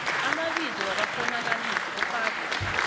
amabizo wabakghonakalisi ufake